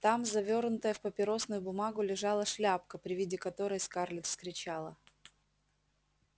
там завёрнутая в папиросную бумагу лежала шляпка при виде которой скарлетт вскричала